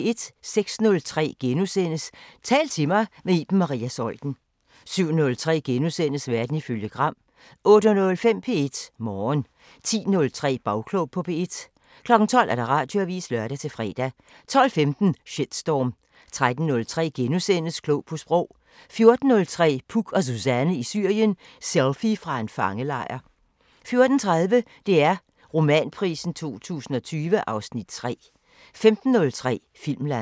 06:03: Tal til mig – med Iben Maria Zeuthen * 07:03: Verden ifølge Gram * 08:05: P1 Morgen 10:03: Bagklog på P1 12:00: Radioavisen (lør-fre) 12:15: Shitstorm 13:03: Klog på Sprog * 14:03: Puk og Suzanne i Syrien: Selfie fra en fangelejr 14:30: DR Romanprisen 2020 (Afs. 3) 15:03: Filmland